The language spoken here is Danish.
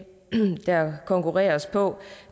eneste der konkurreres på